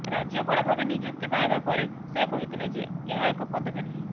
ରାଜ୍ୟପାଳ ଭାବେ ନିଯୁକ୍ତି ପାଇବା ପରେ ସେ କହିଥିଲେ ଯେ ଏହା ଏକ ପଦବୀ ନୁହେଁ